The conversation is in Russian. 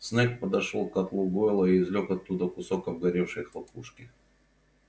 снегг подошёл к котлу гойла и извлёк оттуда кусок обгоревшей хлопушки